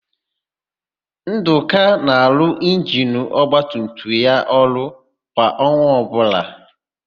Ndụka na-arụ injinu ọgbatumtum ya ọrụ kwa ọnwa ọbụla.